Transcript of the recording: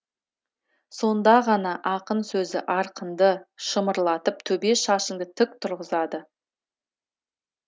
сонда ғана ақын сөзі арқаңды шымырлатып төбе шашыңды тік тұрғызады